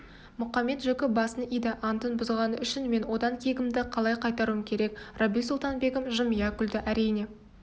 мұқамет-жөкі басын иді антын бұзғаны үшін мен одан кегімді қалай қайтаруым керек рабиу-сұлтан-бегім жымия күлді әрине